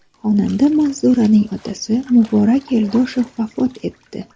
Xonanda Manzuraning otasi Muborak Yo‘ldoshev vafot etdi.